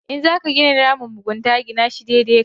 In za ka gina ramin mugunta gina shi daidai da kai.